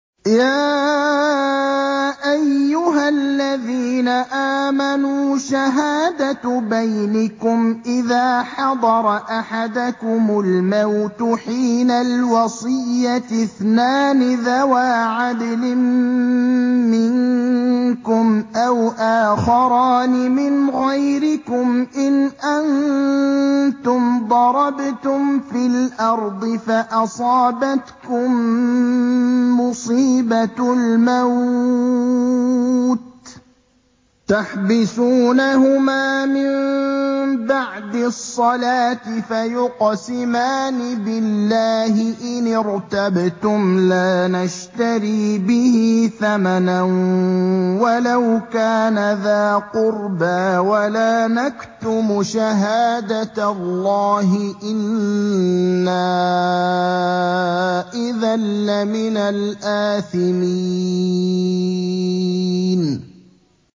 يَا أَيُّهَا الَّذِينَ آمَنُوا شَهَادَةُ بَيْنِكُمْ إِذَا حَضَرَ أَحَدَكُمُ الْمَوْتُ حِينَ الْوَصِيَّةِ اثْنَانِ ذَوَا عَدْلٍ مِّنكُمْ أَوْ آخَرَانِ مِنْ غَيْرِكُمْ إِنْ أَنتُمْ ضَرَبْتُمْ فِي الْأَرْضِ فَأَصَابَتْكُم مُّصِيبَةُ الْمَوْتِ ۚ تَحْبِسُونَهُمَا مِن بَعْدِ الصَّلَاةِ فَيُقْسِمَانِ بِاللَّهِ إِنِ ارْتَبْتُمْ لَا نَشْتَرِي بِهِ ثَمَنًا وَلَوْ كَانَ ذَا قُرْبَىٰ ۙ وَلَا نَكْتُمُ شَهَادَةَ اللَّهِ إِنَّا إِذًا لَّمِنَ الْآثِمِينَ